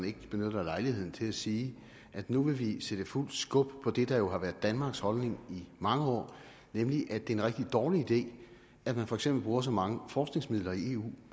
ikke benytter lejligheden til at sige at nu vil vi sætte fuld skub på det der jo har været danmarks holdning i mange år nemlig at det er en rigtig dårlig idé at man for eksempel bruger så mange forskningsmidler i eu